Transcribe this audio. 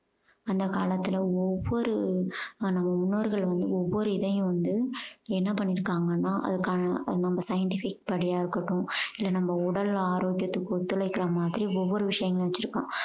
அந்த காலத்துல ஒவ்வொரு நம்ம முன்னோர்கள் வந்து ஒவ்வொரு இதையும் வந்து என்ன பண்ணிருக்காங்கன்னா அதுக்கான நம்ம scientific படியா இருக்கட்டும் இல்ல நம்ம உடல் ஆரோக்கியத்துக்கு ஒத்துழைக்குற மாதிரி ஒவ்வொரு விஷயம் வச்சிருக்கான்